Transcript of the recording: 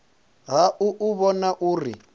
ha u u vhona uri